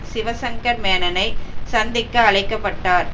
சிவசங்கர் மேனனை சந்திக்க அழைக்க பட்டார்